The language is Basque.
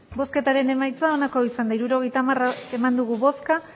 hirurogeita hamar eman dugu bozka